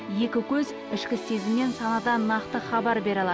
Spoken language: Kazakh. екі көз ішкі сезім мен санадан нақты хабар бере алады